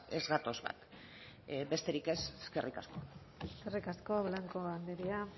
ez gatoz bat besterik ez eskerrik asko eskerrik asko blanco andrea